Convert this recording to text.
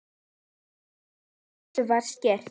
Frá þessu var skýrt.